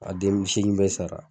A denmusonin bɛɛ sara.